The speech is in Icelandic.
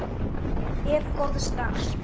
Ef. góðs dags